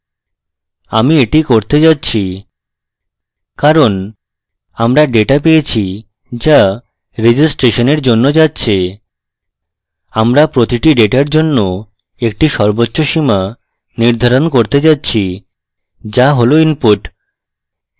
আমি এটি করতে যাচ্ছি কারণ আমরা ডেটা পেয়েছি যা registration জন্য যাচ্ছে আমরা প্রতিটি ডেটার জন্য একটি সর্বোচ্চ সীমা নির্ধারণ করতে যাচ্ছি যা হল input